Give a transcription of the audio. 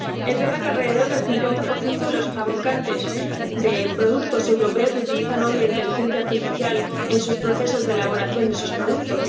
Es verdad que alrededor del 50 de los fabricantes de productos europeos utilizan hoy la inteligencia artificial en sus procesos de elaboración de sus productos